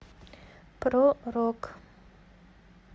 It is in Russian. про рок